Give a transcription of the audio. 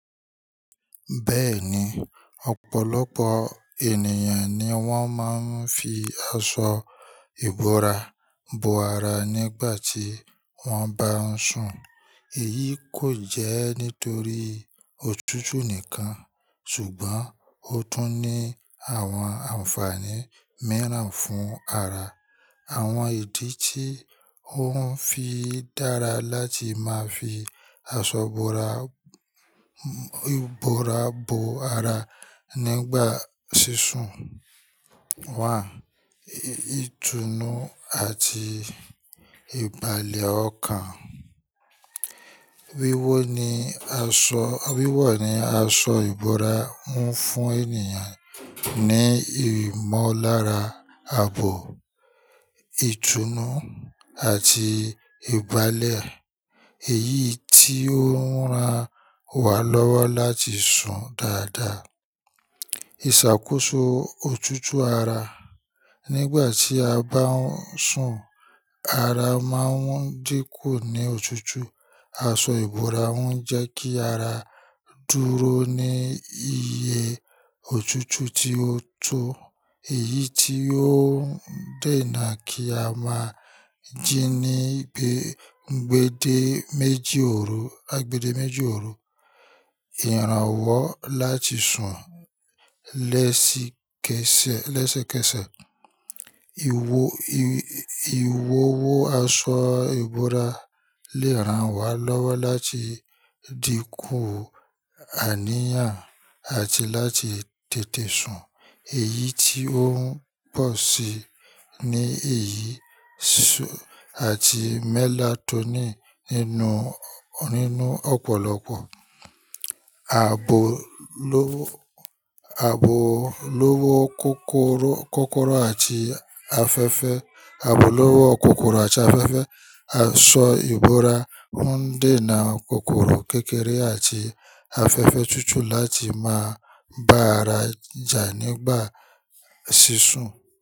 Bẹ́ẹ̀ni, ọ̀pọ̀lọpọ̀ ènìyàn ni wọ́n máa ń fi aṣọ ìbora bo ara nígbà tí wọ́n bá ń sùn. Èyí kò jẹ́ nítorí òtútù nìkan, ṣùgbọ́n ó tún ní àwọn ànfààní mìíràn fún ara. Àwọn ìdí tí ó ń fi dára láti máa fi aṣọ ìbora, ìbora bo ara nígbà sísún. Wàá, ìtùnú àti ìbàlẹ̀ ọkàn. Wíwò ni aṣọ, wíwò ni aṣọ ìbora ń fún ènìyàn ní ìmọ̀lára, àbò, ìtùnú àti ìbàlẹ̀. Èyí tí ó ń ran wá lọ́wọ́ láti sùn dáadáa. Ìṣàkóso òtútù ara. Nígbà tí a bá ń sùn, ara máa ń dínkù ní òtútù. Aṣọ ìbora ń jẹ́ kí ara dúró ní iye òtútù tí ó tọ́. Èyí tí ó ń dènà kí a máa jí ní gbe-gbàdé méjì òru, àgbẹ̀dẹ méjì òru. Ìrànwọ́ láti sùn lẹ́sìkẹsẹ̀, lẹ́sẹ́kẹsẹ̀. Iwò, i-i-ìwọwọ aṣọ ìbora lè ràn wá lọ́wọ́ láti dínkù àníyàn àti láti tètè sùn. Èyí tí ó ń pọ̀ sí i ní èyí sùn àti mélatónìn nínú, nínú ọ̀pọ̀lọpọ̀. Ààbò lọ́wọ́, ààbò lọ́wọ́ kòkòrò, kòkòrò àti afẹ́fẹ́. Ààbò lọ́wọ́ kòkòrò àti afẹ́fẹ́. Aṣọ ìbora ń dènà kòkòrò kékeré àti afẹ́fẹ́ túútúú láti máa bá ara jà nígbà sísún.